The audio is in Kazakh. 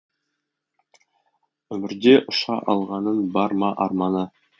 өмірде ұша алғанның бар ма арманы